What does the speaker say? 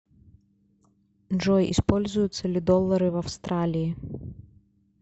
джой используются ли доллары в австралии